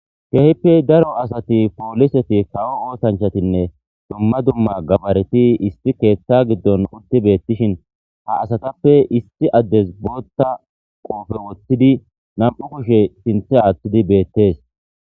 kehippe daro asati pooliseti kawo oosanchatinne dumma dumma gabareti isti keeththa giddon uddi beettishin ha asatappe isti addes bootta qoofe woththidi nam7u kushe sinthe athdi beettees